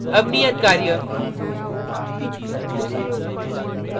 अब नियत कार्य